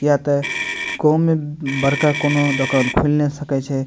किए ते गाम में बड़का कोनो दोकान खुल ने सके छै।